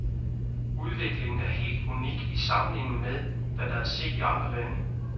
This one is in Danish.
Udviklingen er helt unik i sammenligning med, hvad der er set i andre lande.